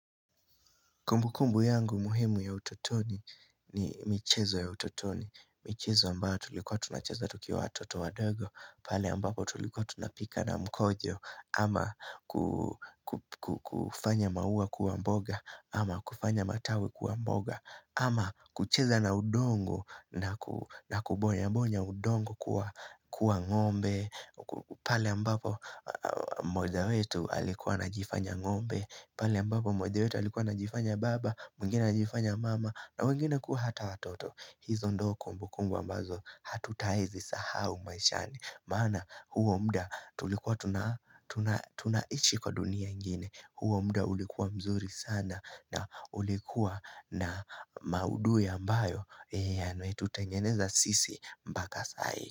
Kumbukumbu yangu muhimu ya utotoni ni michezo ya utotoni, michezo ambayo tulikuwa tunacheza tukiwa watoto wadogo, pale ambapo tulikuwa tunapika na mkojo, ama kufanya maua kuwa mboga, ama kufanya matawi kwa mboga, ama kucheza na udongo na kubonyabonya udongo kuwa ngombe, pale ambapo mmoja wetu alikuwa na jifanya ngombe, pale ambapo mmoja wetu alikuwa anajifanya baba, mwingine anajifanya mama na wengine kuwa hata watoto hizo ndogo kumbukunbu ambazo hatutawai zisahau maishani Maana huo muda tulikuwa tunaishi kwa dunia ingine huo muda ulikuwa mzuri sana na ulikuwa na maudhui ambayo yametutengeneza sisi mpaka sai.